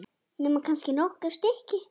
Nema kannski nokkur stykki.